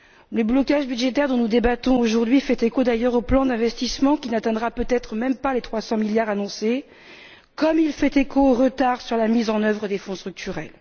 Le blocage budgétaire, dont nous débattons aujourd'hui, fait d'ailleurs écho au plan d'investissement qui n'atteindra peut être même pas les 300 milliards annoncés, comme il fait écho au retard sur la mise en œuvre des Fonds structurels.